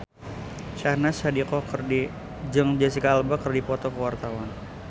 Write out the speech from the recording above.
Syahnaz Sadiqah jeung Jesicca Alba keur dipoto ku wartawan